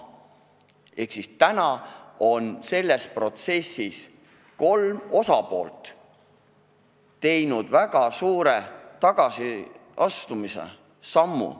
Ehk siis nüüdseks on selle protsessi kolm osapoolt teinud väga suure tagasisammu.